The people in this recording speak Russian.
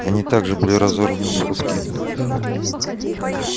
они также были разорваны на куски